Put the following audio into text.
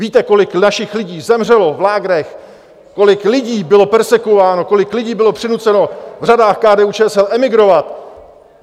Víte, kolik našich lidí zemřelo v lágrech, kolik lidí bylo perzekvováno, kolik lidí bylo přinuceno v řadách KDU-ČSL emigrovat?